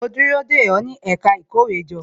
Mo ń dúró dè ó, ní ẹ̀ka ìkówéjọ